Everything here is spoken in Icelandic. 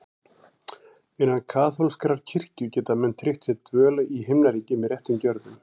Innan kaþólskrar kirkju geta menn tryggt sér dvöl í Himnaríki með réttum gjörðum.